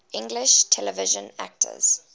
english television actors